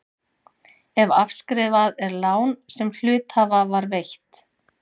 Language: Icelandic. ef afskrifað er lán sem hluthafa var veitt.